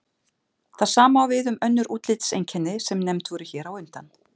Það sama á við um önnur útlitseinkenni sem nefnd voru hér á undan.